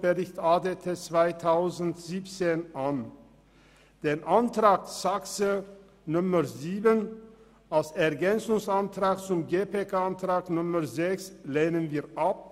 Die Planungserklärung 7 als Ergänzungsantrag zur GPK-Planungserklärung 6 lehnen wir ab.